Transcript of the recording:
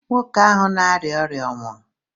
Nwoke ahụ na-arịa ọrịa ọ nwụrụ?